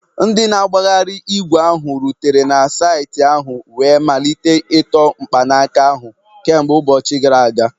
Ndị na-agbagharị ígwè ahụ rutere na saịtị ahụ wee malite ịtọ mkpanaka ahụ kemgbe ụbọchị gara aga